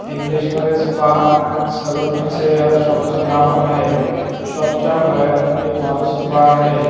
इंग्लिशमध्ये spa and salon असे या शॉपचं नाव आहे शॉपच्या बाहेर एक माणूस उभा आहे.